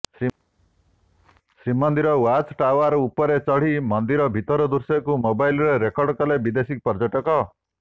Srimandir watch tower ଉପରେ ଚଢି ମନ୍ଦିର ଭିତରଦୃଶ୍ୟକୁ ମୋବାଇଲରେ ରେକର୍ଡ କଲେ ବିଦେଶୀପର୍ଯ୍ୟଟକ